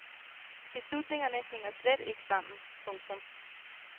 Beslutningerne hænger slet ikke sammen. punktum